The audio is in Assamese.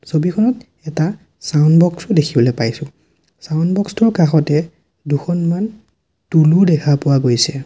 ছবিখনত এটা ছাউণ্ড বক্স ও দেখিবলে পাইছোঁ ছাউণ্ড বক্স টোৰ কাষতেই দুখনমান টূল্ ও দেখা পোৱা গৈছে।